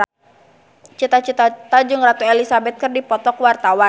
Cita Citata jeung Ratu Elizabeth keur dipoto ku wartawan